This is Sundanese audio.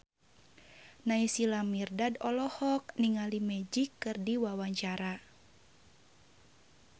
Naysila Mirdad olohok ningali Magic keur diwawancara